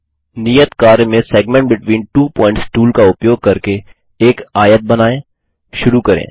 नियत कार्य में segment between two points tool का उपयोग करके एक आयत बनाएं शुरू करें